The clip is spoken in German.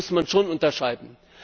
Das muss man schon unterscheiden.